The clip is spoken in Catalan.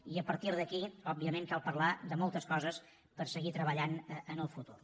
i a partir d’aquí òbviament cal parlar de moltes coses per seguir treballant en el futur